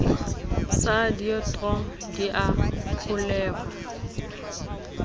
sa deidro di a kgolweha